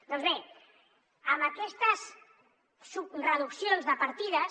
doncs bé amb aquestes reduccions de partides